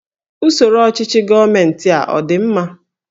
Usoro ọchịchị gọọmentị a ọ dị mma?